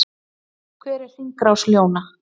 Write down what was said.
Hver er hringrás ljóna?